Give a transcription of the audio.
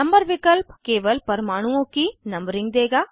number विकल्प केवल परमाणुओं की नंबरिंग देगा